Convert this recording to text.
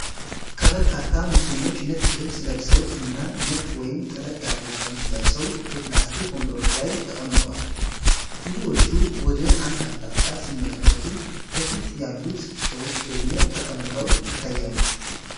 ከበርካታ ሙስሊሞች ነጭ ልብስ ለብሰው እና ነጭ ወይም ጥለት ያለው ቀሚስ ለብሰው በፕላስቲክ ወንበሮች ላይ ተቀምጠዋል። ብዙዎቹ ወደ አንድ አቅጣጫ ሲመለከቱ፣ ከፊት ያሉት ሰዎች ደግሞ ተቀምጠው ይታያሉ።